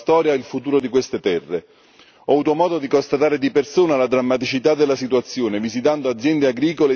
Ho avuto modo di constatare di persona la drammaticità della situazione, visitando aziende agricole ed industriali completamente distrutte.